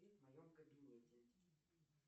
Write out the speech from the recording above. в моем кабинете